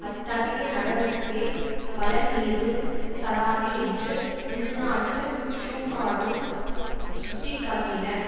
அத்தகைய நடவடிக்கை பலன் ஏதும் தராது என்று உள்நாட்டு ஷுக்காடும் சுட்டி காட்டினர்